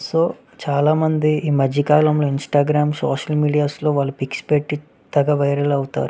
So చాలా మంది ఈ మధ్య కాలములో ఇంస్త్గ్రం సోషల్ మీడియా లో చాలా వాళ్ళ పిక్స్ పెట్టి వైరల్ అవుతారు.